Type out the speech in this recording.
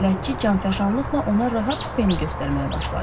Bələdçi canfəşanlıqla ona rahat kupeni göstərməyə başladı.